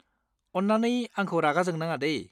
अन्नानै आंखौ रागा जोंनाङा, दे।